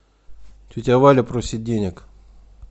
тетя валя просит денег